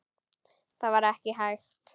Það var ekki hægt.